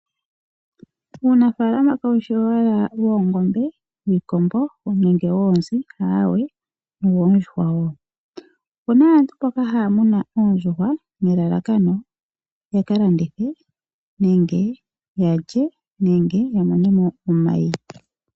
Uunafalama kawu shi owala woongombe nenge wiikombo noonzi aawe, o woondjuhwa wo. Opuna aantu mboka haya munu oondjuhwa nelalakano yaka landithe, nenge yalye, nenge ya mone mo omayi.